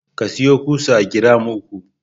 Ka sayo ƙusa giram uku.